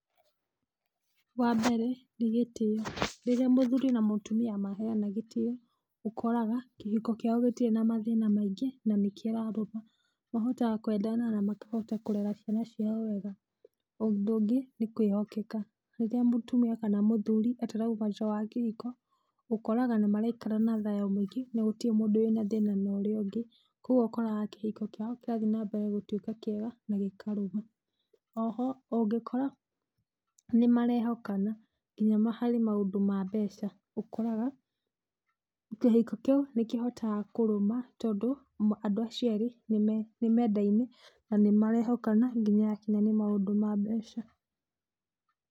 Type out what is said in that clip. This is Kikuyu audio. Wa mbere nĩ gĩtĩyo, rĩrĩa mũthuri na mutumia maheyana gĩtĩyo ũkoraga kĩhiko kĩao gĩtirĩ na mathĩna maingĩ na nĩ kĩrarũma. Mahotaga kwendana na makahota kũrera ciana ciao wega. Ũndũ ũngĩ nĩ kwĩhokeka, rĩrĩa mũtumia kana mũthuri atarauma nja wa kĩhiko ũkoraga nĩmaraikara na thayũ mũingĩ, na gũtirĩ mũndũ wĩna thĩna na ũrĩa ũngĩ, koguo ũkoraga kĩhiko kĩao kĩrathĩ na mbere gũtuĩka kĩega na gĩkarũma. Oho ũngĩkora nĩmarehokana nginya harĩ maũndũ ma mbeca, ũkoraga kĩhiko kĩu nĩ kĩhotaga kũrũma, tondũ andũ acio erĩ nĩ mendaine na nĩmarehokana nginya hakinya nĩ maũndũ ma mbeca.